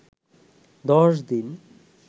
দশ দিন